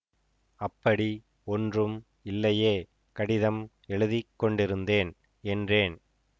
அப்படி ஒன்றும் இல்லையே கடிதம் எழுதிக்கொண்டிருந்தேன் என்றேன்